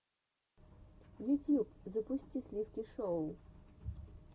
ютьюб запусти сливки шоу